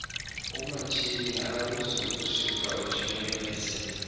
umatshini awuzokusuka ujikeleze